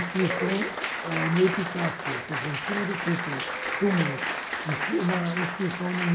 inscrição eh no epitáfio, quer dizer, em cima do tupulo túmulo, uma inscrição em um